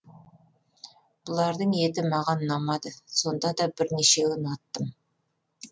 бұлардың еті маған ұнамады сонда да бірнешеуін аттым